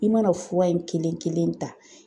I mana fura in kelen kelen ta